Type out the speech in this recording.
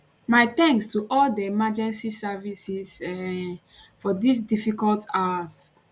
my thanks to all di emergency services um for dis difficult hours